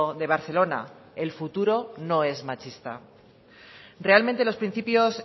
de barcelona el futuro no es machista realmente los principios